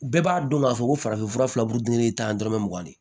Bɛɛ b'a dɔn k'a fɔ ko farafin fura fila burudennin tan dɔrɔmɛ mugan de ye